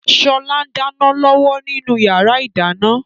Sọlá ń dáná lọ́wọ́ nínú yàrá ìdáná